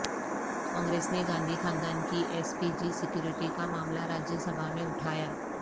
کانگریس نے گاندھی خاندان کی ایس پی جی سیکورٹی کا معاملہ راجیہ سبھا میں اٹھایا